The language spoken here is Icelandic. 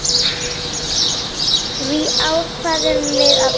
Því ákváðum við að breyta.